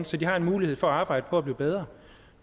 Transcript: så de har en mulighed for at arbejde på at blive bedre